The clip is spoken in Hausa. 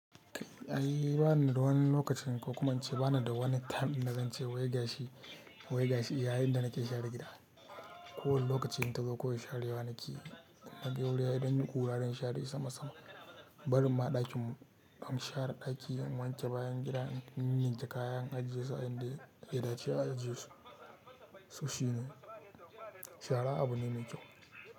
Kai ai ba ni da wani lokacin ko kuma in ce ba ni da wani time din da zance wai gashi--wai gashi yayin da nake share gida. Ko wani lokacin in ta zo, kawai share wa nake yi. Na ga wuri ya dan yi kura dan share sama-sama. Barin ma ɗakin mu, damu share ɗaki, mu wanke bayan gida, in ninninke kaya, in ajiye su a inda ya--ya dace a ajiye shi. So shi ne. Shara abu ne mai kyau.